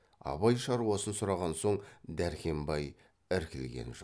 абай шаруасын сұраған соң дәркембай іркілген жоқ